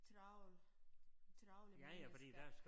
Travl travle mennesker